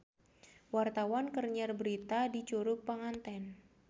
Wartawan keur nyiar berita di Curug Panganten